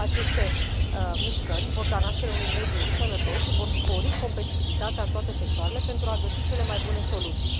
Aceste mișcări vor da naștere unui mediu sănătos și vor spori competitivitatea în toate sectoarele, pentru a găsi cele mai bune soluții.